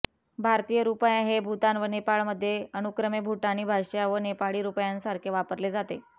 भारतीय रुपया हे भूतान व नेपाळमध्ये अनुक्रमे भूटानी भाषा व नेपाळी रुपयासारखे वापरले जाते